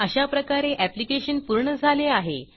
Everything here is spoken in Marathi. अशाप्रकारे ऍप्लिकेशन पूर्ण झाले आहे